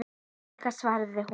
Ég líka, svaraði hún.